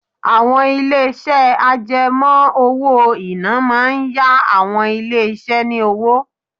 Àwọn ilé-iṣẹ́ àjẹmó owó-ìná máa ń yá àwọn ilé iṣẹ́ ni owó.